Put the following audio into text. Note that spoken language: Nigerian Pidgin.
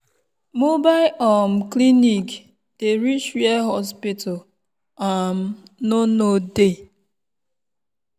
mobile um clinic dey reach where hospital um no no dey.